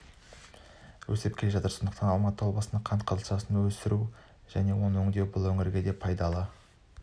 өсіп келе жатыр сондықтан алматы облысында қант қызылшасын өсіру оны өңдеу бұл өңірге де пайдалы